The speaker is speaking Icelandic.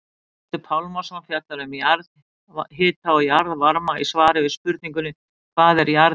Guðmundur Pálmason fjallar um jarðhita og jarðvarma í svari við spurningunni Hvað er jarðhiti?